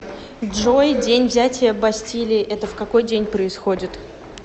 джой день взятия бастилии это в какой день происходит